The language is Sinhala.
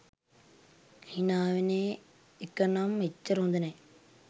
හිනාවෙන එකනම් එච්චර හොඳ නැහැ